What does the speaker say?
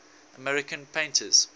american painters